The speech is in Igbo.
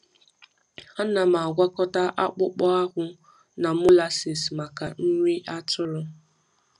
Ana m agwakọta akpụkpọ akpụ na molasses maka nri atụrụ.